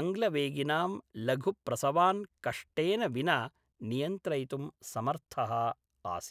अङ्ग्लवेगिनां लघुप्रसवान् कष्टेन विना नियन्त्रयितुं समर्थः आसीत्।